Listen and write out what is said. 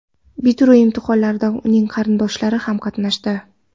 Bitiruv imtihonlarida uning qarindoshlari ham qatnashdi.